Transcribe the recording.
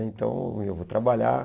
Então, eu vou trabalhar.